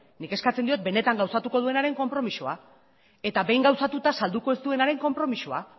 nik eskatzen diot benetan gauzatuko duenaren konpromisoa eta behin gauzatuta salduko ez duenaren konpromisoa